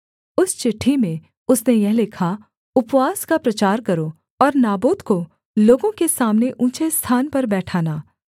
उस चिट्ठी में उसने यह लिखा उपवास का प्रचार करो और नाबोत को लोगों के सामने ऊँचे स्थान पर बैठाना